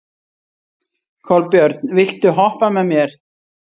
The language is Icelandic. Kolbjörn, viltu hoppa með mér?